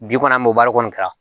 Bi kɔni an b'o baara kɔni kɛra